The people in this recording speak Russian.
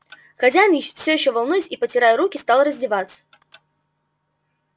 хозяин всё ещё волнуясь и потирая руки стал раздеваться